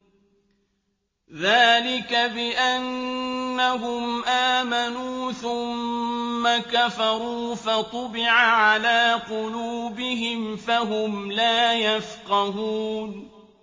ذَٰلِكَ بِأَنَّهُمْ آمَنُوا ثُمَّ كَفَرُوا فَطُبِعَ عَلَىٰ قُلُوبِهِمْ فَهُمْ لَا يَفْقَهُونَ